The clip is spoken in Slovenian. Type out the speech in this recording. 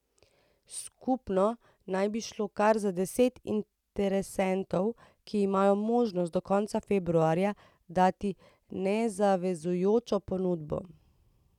Skupno naj bi šlo kar za deset interesentov, ki imajo možnost do konca februarja dati nezavezujočo ponudbo.